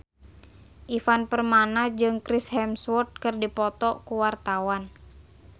Ivan Permana jeung Chris Hemsworth keur dipoto ku wartawan